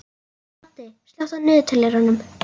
Addi, slökktu á niðurteljaranum.